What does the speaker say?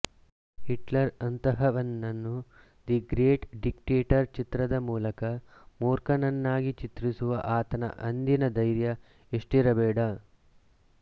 Hitler ಅಂತಹವನ್ನು the great dictator ಚಿತ್ರದ ಮೂಲಕ ಮೂರ್ಖನನ್ನಾಗಿ ಚಿತ್ರಿಸುವ ಆತನ ಅಂದಿನ ಧೈರ್ಯ ಎಷ್ಟಿರಬೇಡ